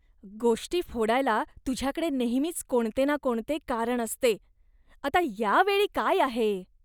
गोष्टी फोडायला तुझ्याकडे नेहमीच कोणते ना कोणते कारण असते. आता या वेळी काय आहे?